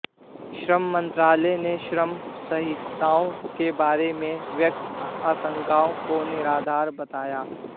श्रम मंत्रालय ने श्रम संहिताओं के बारे में व्यक्त आशंकाओं को निराधार बताया